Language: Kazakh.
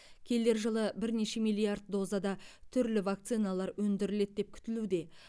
келер жылы бірнеше миллиард дозада түрлі вакциналар өндіріледі деп күтілуде